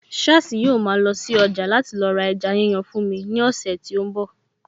Sháàsì yóò ma lọ sí ọjà láti lọ ra ẹja yíyan fún mi ní ọ̀sẹ̀ tí ó ń bọ̀